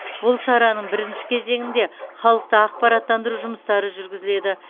бұл шараның бірінші кезеңінде халықты ақпараттандыру жұмыстары жүргізіледі